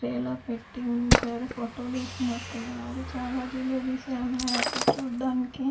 Tray లో పెట్టి ఉంచారు ఫోటోలు తీసినట్టున్నారు చాలా జిలేబిస్ ఏ ఉన్నాయి అక్కడ చూడడానికి.